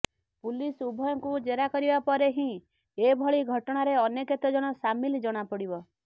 police ଉଭୟଙ୍କୁ ଜେରା କରିବା ପରେ ହିଁ ଏଭଳି ଘଟଣାରେ ଅନ୍ୟ କେତେଜଣ ସାମିଲ ଜଣାପଡିବ